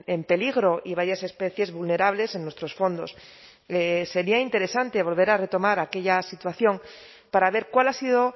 en peligro y varias especies vulnerables en nuestros fondos sería interesante volver a retomar aquella situación para ver cuál ha sido